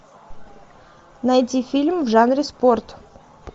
найти фильм в жанре спорт